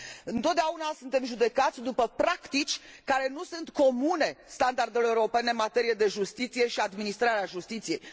Întotdeauna suntem judecați după practici care nu sunt comune standardelor europene în materie de justiție și administrare a justiției.